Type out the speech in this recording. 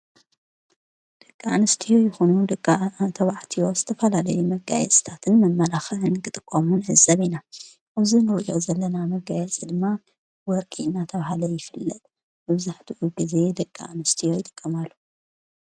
ደቂ ኣንስትዮ ይኹኑ ደቂ ተባዕትዮ ዝተፋላለዩ መጋየፂታትን መመላኽን ክጥቆሙ ንዕዘብ ኢና፡፡ እዚ ንርእዮ ዘለና መጋየፂ ድማ ወርቂ እናተባሃለ ይፍለጥ፡፡ መብዛሕትኡ ጊዜ ደቂ ኣንስቲዮ ይጥቀማሉ፡፡